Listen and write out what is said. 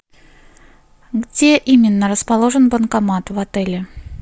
где именно расположен банкомат в отеле